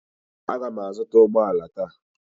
Aga m azụta ụgbọ ala taa.